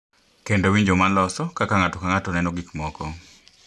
Kendo winjo ma loso kaka ng’ato ka ng’ato neno gik moko.